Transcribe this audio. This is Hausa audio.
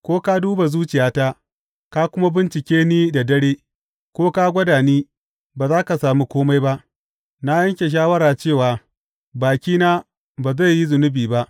Ko ka duba zuciyata, ka kuma bincike ni da dare, ko ka gwada ni, ba za ka sami kome ba; na yanke shawara cewa bakina ba zai yi zunubi ba.